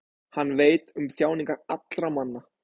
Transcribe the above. hann veit um þjáningar allra manna